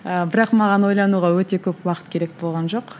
ы бірақ маған ойлануға өте көп уақыт керек болған жоқ